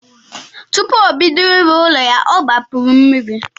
Tupu obodo ịrụ ụlọ ya ọ gbapuru mmiri.